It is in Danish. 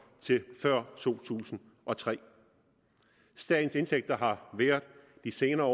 til før to tusind og tre statens indtægter har de senere år